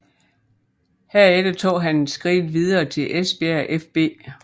Herefter tog han skridtet videre til Esbjerg fB